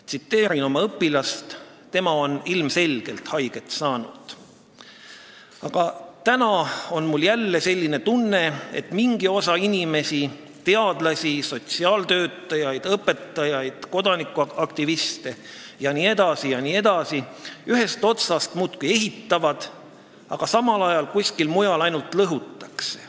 Tsiteerin oma õpilast, kes on ilmselgelt haiget saanud: "Aga täna on mul jälle selline tunne, et mingi osa inimesi – teadlasi, sotsiaaltöötajaid, õpetajaid, kodanikuaktiviste jne, jne – ühest otsast muudkui ehitavad, aga samal ajal kuskil mujal ainult lõhutakse.